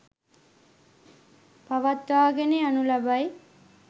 පවත්වාගෙන යනු ලබයි.